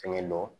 Fɛngɛ lo